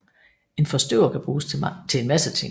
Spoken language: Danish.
En forstøver kan bruges til en masse ting